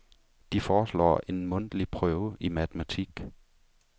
De foreslår en mundlig prøve i matematik.